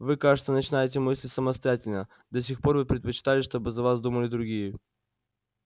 вы кажется начинаете мыслить самостоятельно до сих пор вы предпочитали чтобы за вас думали другие